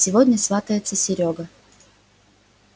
сегодня сватается серёга